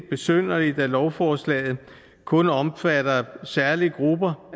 besynderligt at lovforslaget kun omfatter særlige grupper